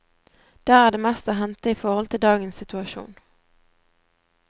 Der er det mest å hente i forhold til dagens situasjon.